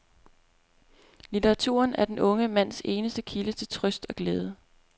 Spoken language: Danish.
Litteraturen er den unge mands eneste kilde til trøst og glæde.